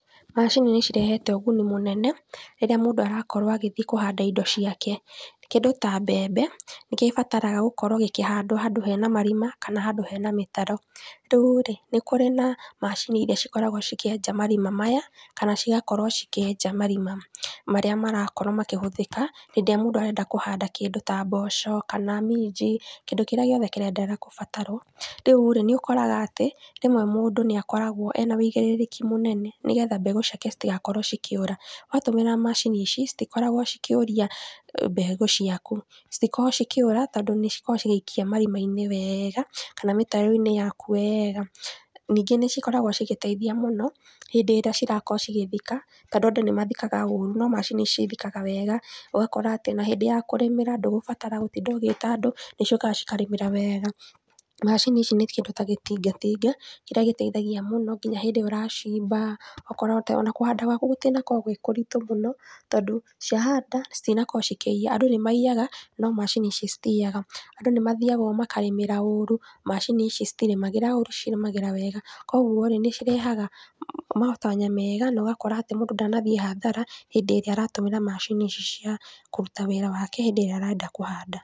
Macini nĩcirehete ũguni mũnene rĩrĩa mũndũ arakorwo agĩthie kũhanda indo ciake kĩndũ ta mbembe nĩkĩo ibataraga gũkorwo ikĩhandwo handũ hena marima kana handũ hena mĩtaro, rĩu rĩ nĩkũrĩ na macini iria cikoragwo cikĩenja marima maya kana cigakorwo ikĩenja marima marĩa marakorwo makĩhũthĩka hĩndĩ ĩrĩa mũndũ arenda kũhanda kĩndũ ta mboco kana minji kĩndũ kĩrĩa gĩothe kĩrĩa kĩraendere gũbatarwo. Rĩu rĩ nĩũkoraga atĩ rĩmwe mũndũ nĩakorwo arĩ na ũigĩrĩrĩki mũnene nĩgetha mbegũ ciake citigakorwo cikĩũra, watũmĩra macini ici citikoragwo cikĩũria mbegũ ciaku citikoragwo cikĩũra tondũ nĩcikoragwo cigĩikia marimainĩ wega kana mĩtaroinĩ yaku wega ningĩ nĩcikoragwo cigĩteithia mũno hĩndĩ ĩrĩa cirakorwo cigĩthika tondũ andũ nĩmathikaga ũru no macini ici ithikaga wega ũgakora atĩ ona hĩndĩ ya kũrĩmĩra ndũgũbatara gũtinda ũgĩta andũ tondũ nĩciũkaga ikarĩmĩra wega, macini ici nĩtagĩtinga tinga kĩrĩa gĩteithagia mũno nginya hĩndĩ ĩrĩa ũracimba ũgakora ona kũhanda gwaku gũtinakorwo gwĩ kũritũ mũno tondũ ciahanda na citinakorwo ikĩiya andũ nĩmaiyaga no macini ici citiyaga andũ nĩmathiaga makarĩmĩra ũru no macini ici citirĩmagĩra ũru irĩmagĩra wega koguo nĩmarehaga matanya mega na ũgakora mũndũ ndanathie hathara hĩndĩ ĩrĩa aratũmĩra macini ici cia kũruta wĩra wake hĩndĩ ĩrĩa arenda kũhanda.